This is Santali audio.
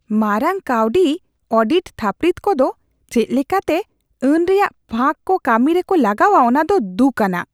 ᱢᱟᱨᱟᱝ ᱠᱟᱹᱣᱰᱤ ᱚᱰᱤᱴ ᱛᱷᱟᱹᱯᱱᱤᱛ ᱠᱚᱫᱚ ᱪᱮᱫ ᱞᱮᱠᱟᱛᱮ ᱟᱹᱱ ᱨᱮᱭᱟᱜ ᱯᱷᱟᱸᱠ ᱠᱚ ᱠᱟᱹᱢᱤ ᱨᱮᱠᱚ ᱞᱟᱜᱟᱣᱟ ᱚᱱᱟᱫᱚ ᱫᱩᱠᱼᱟᱱᱟᱜ ᱾